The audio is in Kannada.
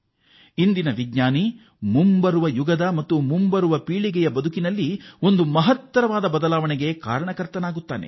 ಇಂದಿನ ವಿಜ್ಞಾನಿಗಳು ನಮ್ಮ ಭವಿಷ್ಯದ ಪೀಳಿಗೆಯ ಬದುಕಿನಲ್ಲಿ ಬದಲಾವಣೆ ತರಬಲ್ಲವರಾಗುತ್ತಾರೆ